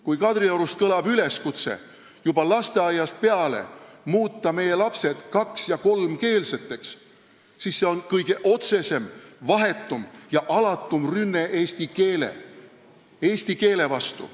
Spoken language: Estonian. Kui Kadriorust kõlab üleskutse muuta meie lapsed juba lasteaiast peale kaks- ja kolmkeelseteks, siis see on kõige otsesem, vahetum ja alatum rünne eesti keele vastu.